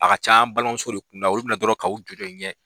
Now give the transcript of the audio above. A ka caan balimamuso de kun da olu bɛ na dɔrɔn k'aw jɔ jɔ in ɲɛ.